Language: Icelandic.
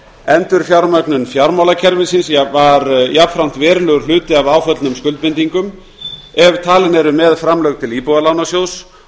endurfjármögnun fjármálakerfisins var jafnframt verulegur hluti af áföllnum skuldbindingum ef talin eru með framlög til íbúðalánasjóðs